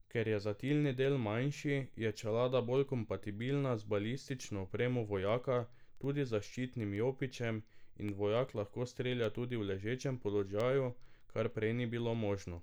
Ker je zatilni del manjši, je čelada bolj kompatibilna z balistično opremo vojaka, tudi zaščitnim jopičem, in vojak lahko strelja tudi v ležečem položaju, kar prej ni bilo možno.